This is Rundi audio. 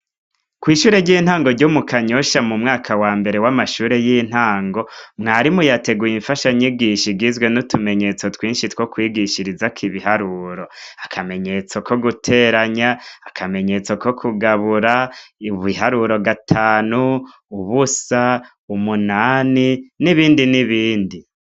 Ku ishuri ryintango ryo mu kanyosha ryo mu mwaka wambere w'amashuri y'intango mwarimu yateguye infasha nyigisho igizwe n'utumenyetso twishi two kwigishizirizako ibiharuro akamenyetso ko guteranya akamenyetso ko kugabura ibiharuro gatanu, ubusa, umunni n'ibindi n'ibindi.